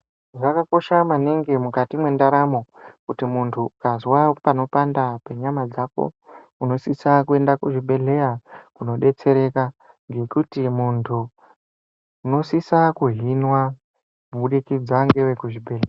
Zvakakosha maningi mukati mwendaramo kuti munthu ukazwa panopanda penyama dzako unosisa kuenda kuzvibhedhleya kunodetsereka ngekuti munthu unosisa kuhinwa kubudikidza ngevekuzvibhedhleya.